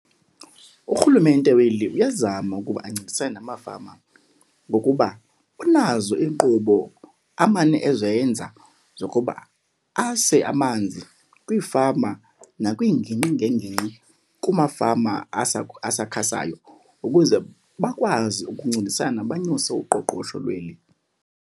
URhulumente weli uyazama ukuba ancedisane namafama ngokuba unazo iinkqubo amane ezenza zokuba ase amanzi kwiifama nakwiingingqi ngeengingqi kumafama asakhasayo ukuze bakwazi ukuncedisana banyuse uqoqosho lweli.